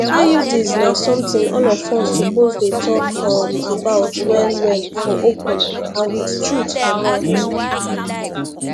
iuds na something all of us suppose dey talk um about well well for open and with truth for mouth